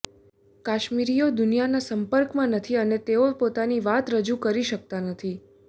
કાશ્મીરીઓ દુનિયાના સંપર્કમાં નથી અને તેઓ પોતાની વાત રજૂ કરી શકતા નથી